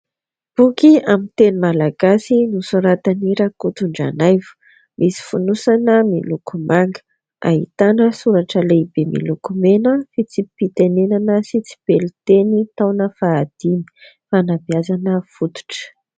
Boky amin'ny teny malagasy nosoratan'i Rakotondranaivo. Misy fonosana miloko manga. Ahitana soratra lehibe miloko mena, fitsipi-pitenenana sy tsipelin-teny taona fahadimy, fanabeazana fototra.